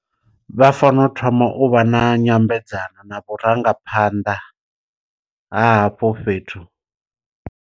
Vha fanela u thoma u vha na nyambedzano na vhurangaphanḓa ha hafho fhethu.